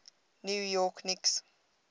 new york knicks